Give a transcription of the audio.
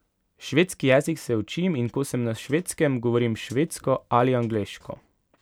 Švedski jezik se učim in ko sem na Švedskem, govorim švedsko ali angleško.